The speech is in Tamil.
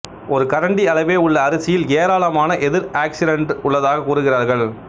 ஒரு கரண்டி அளவே உள்ள அரிசியில் எராளமான எதிர் ஆக்சிடன்று உள்ளதாகக் கூறுகிறார்கள்